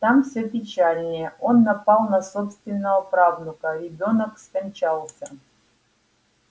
там все печальнее он напал на собственного правнука ребёнок скончался